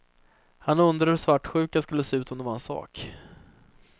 Han undrade hur svartsjuka skulle se ut om det var en sak.